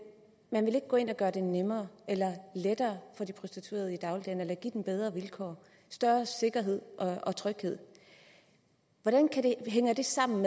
man vil ikke gå ind og gøre det nemmere eller lettere for de prostituerede i dagligdagen give dem bedre vilkår større sikkerhed og tryghed hvordan hænger det sammen